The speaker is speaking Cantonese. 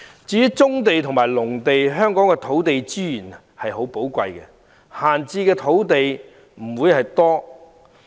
至於棕地和農地，由於香港的土地資源十分寶貴，故閒置的土地不多。